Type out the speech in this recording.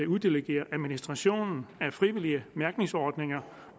uddelegere administrationen af frivillige mærkningsordninger